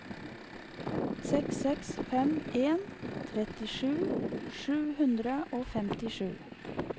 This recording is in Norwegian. seks seks fem en trettisju sju hundre og femtisju